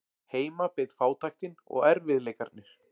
Heima beið fátæktin og erfiðleikarnir.